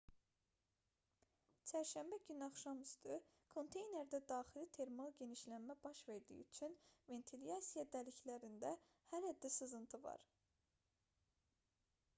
çərşənbə günü axşamüstü konteynerdə daxili termal genişlənmə baş verdiyi üçün ventilyasiya dəliklərində hələ də sızıntı var idi